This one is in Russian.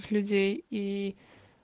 людей и